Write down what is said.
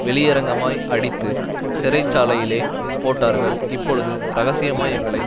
வெளியரங்கமாய் அடித்து சிறைச்சாலையிலே போட்டார்கள் இப்பொழுது இரகசியமாய் எங்களை